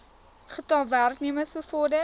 getal werknemers bevorder